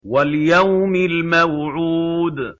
وَالْيَوْمِ الْمَوْعُودِ